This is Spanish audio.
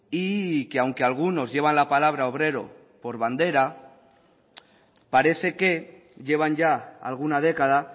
y que aunque algunos llevan la palabra obrero por bandera parece que llevan ya alguna década